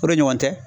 O de ɲɔgɔn tɛ